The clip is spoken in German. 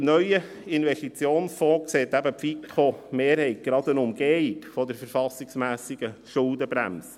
Im neuen Investitionsfonds sieht die FiKo-Mehrheit gerade eine Umgehung der verfassungsmässigen Schuldenbremse.